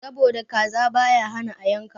Sabo da kaza baya hana a yanka.